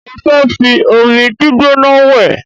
Mo fẹ́ fi omi gbígbóná wẹ̀